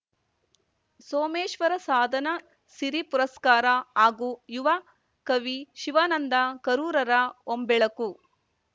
ಸೋಮೇಶ್ವರ ಸಾಧನಾ ಸಿರಿ ಪುರಸ್ಕಾರ ಹಾಗೂ ಯುವ ಕವಿ ಶಿವಾನಂದ ಕರೂರುರ ಹೊಂಬೆಳಕು